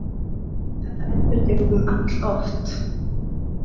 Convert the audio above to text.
Þetta endurtekur hún alloft.